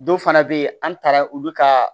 Dɔw fana bɛ yen an taara olu ka